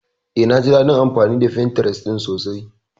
Eh, naji daɗin amfani da Pinterest sosai.